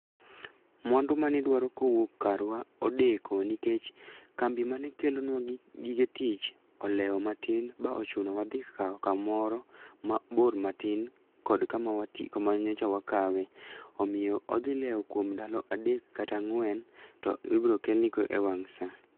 Mwandu mane idwaro ka owuok karwa odeko nikech kambi mane kelonwa gik gige tich olewo matin, ba ochunowa dhi kawo kamoro mabor matin kod kama kama nyocha wakawe. Omiyo odhi lewo kuom ndalo adek kata ang'wen, to ibiro kelnigo e wang' sa.